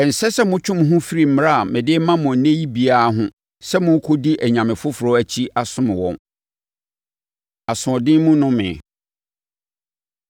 Ɛnsɛ sɛ motwe mo ho firi mmara a mede rema mo ɛnnɛ yi biara ho sɛ morekɔdi anyame foforɔ akyi asom wɔn. Asoɔden Mu Nnome